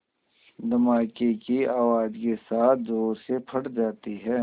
धमाके की आवाज़ के साथ ज़ोर से फट जाती है